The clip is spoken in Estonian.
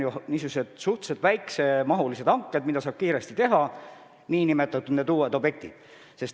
Need on ju niisugused suhteliselt väikse mahuga hanked, mida saab kiiresti teha, ka need uued objektid.